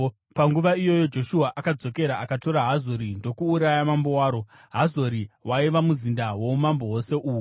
Panguva iyoyo, Joshua akadzokera akatora Hazori ndokuuraya mambo waro. (Hazori waiva muzinda woumambo hwose uhu.)